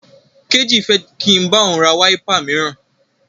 Kéjì fẹ́ kí n bá òun ra wáípà míràn.